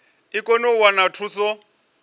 i kone u wana thuso